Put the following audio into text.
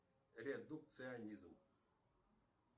редукционизм